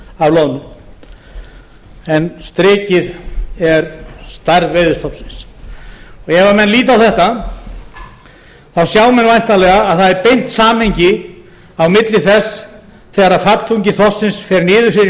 af loðnu en strikið er stærð veiðistofnsins ef menn líta á þetta sjá menn væntanlega að það er beint samhengi á milli þess þegar fallþungi þorsksins fer niður fyrir